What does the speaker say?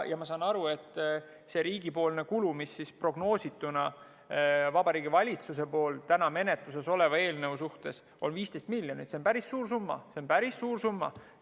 Ma saan aru, et see riigi kulu, mis Vabariigi Valitsuse prognoosituna täna menetluses oleva eelnõu järgi on 15 miljonit, see on päris suur summa.